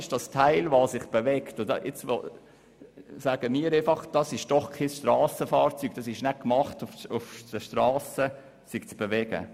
Dieser Teil bewegt sich beim Fahren, und man sieht ihm an, dass es nicht dafür gemacht ist, um sich auf Strassen zu bewegen.